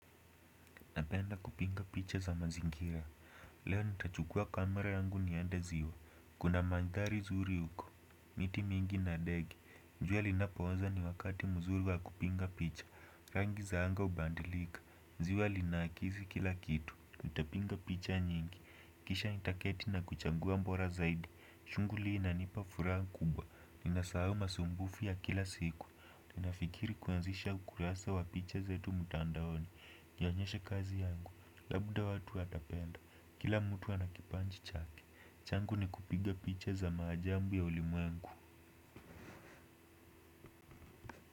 Napenda kupiga picha za mazingira. Leo nitachukua kamera yangu niende ziwa. Kuna mandhari zuri uko. Miti mingi na ndege jua linapooza ni wakati mzuri wa kupiga picha. Rangi za anga hubadilika. Ziwa linaakizi kila kitu nitapiga picha nyingi kisha nitaketi na kuchagua bora zaidi. Shuguli hii inanipa furaha kubwa. Ninasahau masumbufu ya kila siku. Tunafikiri kuanzisha ukurasa wa picha zetu mtandaoni ionyeshe kazi yangu. Labda watu watapenda. Kila mtu ana kipaji chake. Changu ni kupiga picha za maajabu ya ulimwengu.